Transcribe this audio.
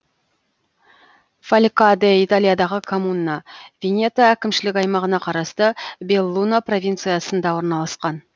фалькаде италиядағы коммуна венето әкімшілік аймағына қарасты беллуно провинциясында орналасқан